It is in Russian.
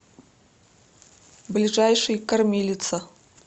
ближайший кормилица